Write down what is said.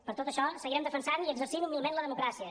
per tot això seguirem defensant i exercint humilment la democràcia